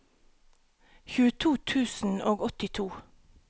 tjueto tusen og åttito